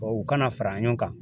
Wa u kana fara ɲɔgɔn kan.